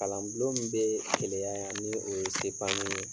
Kalan bulon min be Keleya yan ni o ye sepamu ye